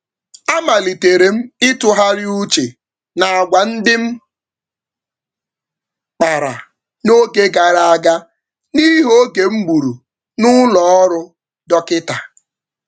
Oge egburu m n’ụlọ ọgwụ dọkịta nyere m ohere iji tụlee àgwà m n’oge na-adịbeghị anya.